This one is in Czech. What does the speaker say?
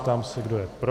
Ptám se, kdo je pro.